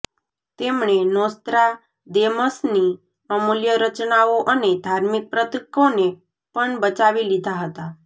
તેમણે નોસ્ત્રાદેમસની અમૂલ્ય રચનાઓ અને ધાર્મિક પ્રતીકોને પણ બચાવી લીધાં હતા